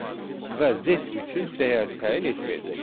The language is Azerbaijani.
Və Z üçün dəyər təyin etməyəcək.